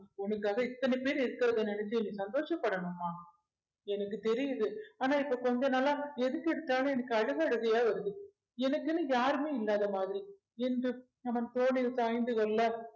உனக்காக இத்தனை பேர் இருக்கிறதை நினைச்சு நீ சந்தோஷப்படணுமா எனக்கு தெரியுது ஆனா இப்போ கொஞ்ச நாளா எதுக்கு எடுத்தாலும் எனக்கு அழுகை அழுகையா வருது எனக்குன்னு யாருமே இல்லாத மாதிரி என்று அவன் தோளில் சாய்ந்து கொள்ள